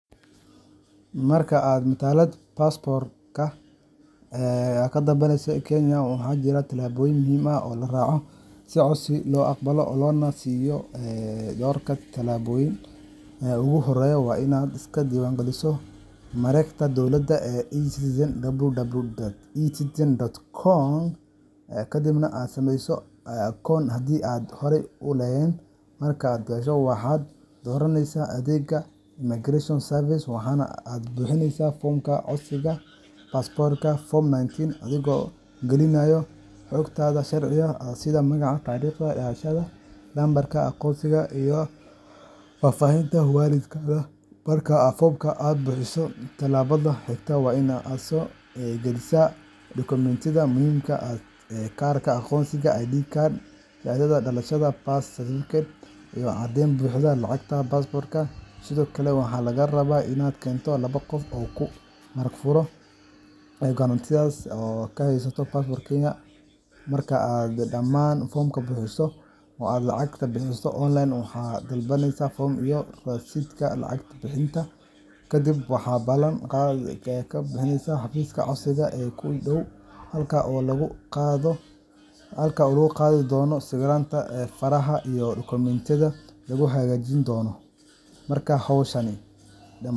Marka aad matalad passp2 ee aad kadalbaneyso kenya, waxa jiraa talaboyin muxiim ah oo laraco, si loagbalo oo lonasiyo ee dorka talaboyin, ee uguhoreya wa inad iska dewan galiso marakta dowlada ee e-citizen www.e-citizen .com kadibna aad sameyso account hadhii aad hore ulehen, markad gasho waxad doraneysa adega micron service aad buhineysa formka, codsiga passport form 19 adhigo galinayo hogtada sharciga sidhaa magaca tarigta dalashada number agoonsiga, faafahinta walidgaga , marka aad buhiso talabada higta wa inad aad sogalisa, document muxiimka ee karka agonsiga id card shadada dalasha sidha birth certificate iyo cadeyn buxdo, Sidhokale waha lagarawaa labo gof oo kahaysato passport kenya marka aad daman formka buhiso, oo aad lacagta waxad dalbaneysa rasitka lacagta, kadib waxa balan gadeysa hafiska codsiga ee kudow ee gado, faraha iyo document.